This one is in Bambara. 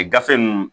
gafe ninnu